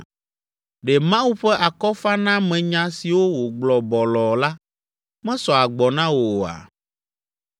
Ɖe Mawu ƒe akɔfanamenya siwo wògblɔ bɔlɔɔ la, mesɔ agbɔ na wò oa?